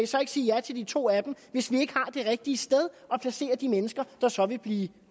så kan sige ja til de to af dem hvis man ikke har det rigtige sted at placere de mennesker der så vil blive